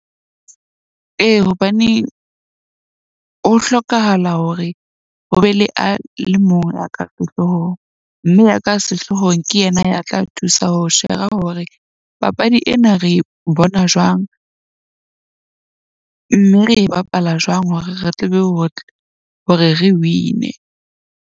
Ee, hobane ho hlokahala hore ho be le a le mong ya ka sehloohong. Mme ya ka sehloohong ke yena ya tla thusa ho shera hore papadi ena re bona jwang. Mme re e bapala jwang hore re tle be hore re win-e.